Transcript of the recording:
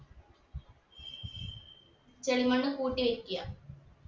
ചെളി മണ്ണ് കൂട്ടി വെക്ക